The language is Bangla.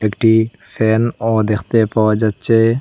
একটি ফ্যানও দেখতে পাওয়া যাচ্ছে।